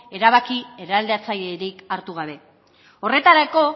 erabaki eraldatzailerik hartu gabe horretarako